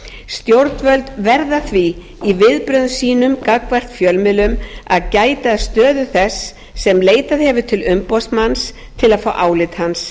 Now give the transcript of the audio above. stjórnvöld verða því í viðbrögðum sínum gagnvart fjölmiðlum að gæta að stöðu þess sem leitað hefur til umboðsmanni til að fá álit hans